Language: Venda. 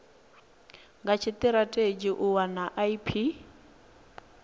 ha tshitirathedzhi u wana ip